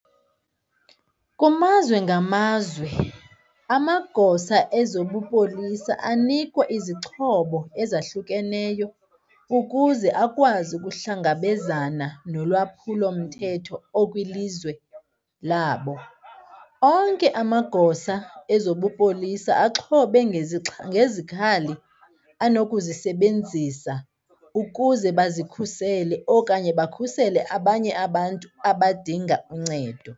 Kumazwe ngamazwe, amagosa ezobupolisa anikwa izixhobo ezahlukeneyo ukuze akwazi ukuhlangabezana nolwaphulo mthetho okwilizwe labo. Onke amagosa ezobupolisa axhobe ngezikhali anokuzisebenzisa ukuze bazikhusele okanye bakhusele abanye abantu abadinga uncedo.